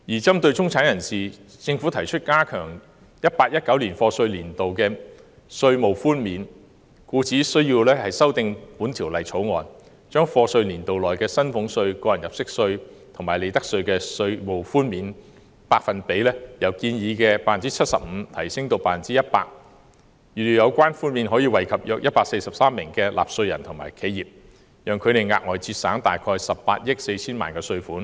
針對中產人士，政府提出加強 2018-2019 課稅年度的稅務寬免，故需修訂《條例草案》，把課稅年度內的薪俸稅、個人入息課稅及利得稅的稅務寬免百分比由建議的 75% 提升至 100%， 預料有關寬免可惠及約143萬名納稅人和企業，讓他們額外節省約18億 4,000 萬元稅款。